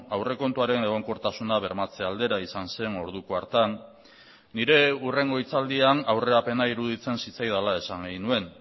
aurrekontuaren egonkortasuna bermatze aldera izan zen orduko hartan nire hurrengo hitzaldian aurrerapena iruditzen zitzaidala esan nuen